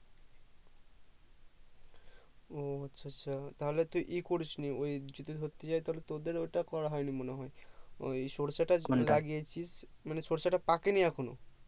ও আচ্ছা আচ্ছা তাহলে তুই ই করিসনি ওই যদি ধরতে যাই তাহলে তোদের ওইটা করা হয়ওনি মনে হয় ওই সরিষাটা যেটা লাগিয়েছিস সরিষা টা পাকেনি এখনো